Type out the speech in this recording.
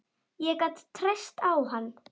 Ég gat treyst á hann.